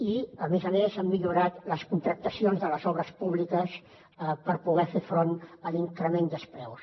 i a més a més hem millorat les contractacions de les obres públiques per poder fer front a l’increment dels preus